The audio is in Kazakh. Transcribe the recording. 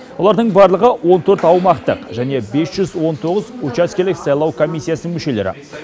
олардың барлығы он төрт аумақтық және бес жүз он тоғыз учаскелік сайлау комиссиясының мүшелері